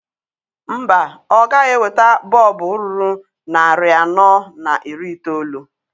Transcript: Mba, ọ gaghị eweta bọọbụ ruru narị anọ na iri itoolu.